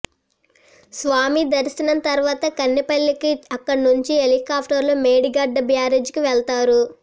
స్వామి దర్శనం తర్వాత కన్నెపల్లికి అక్కడినుంచి హెలికాప్టర్లో మేడిగడ్డ బ్యారేజీకి వెళ్తారు